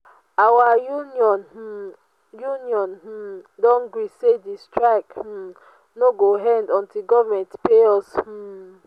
our union um union um don gree sey di strike um no go end untill government pay us. um